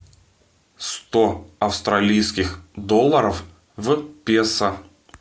сто австралийских долларов в песо